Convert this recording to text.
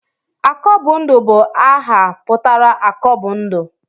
Akọbụndụ bụ aha pụtara 'akọ bụ ndụ'